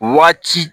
Wagati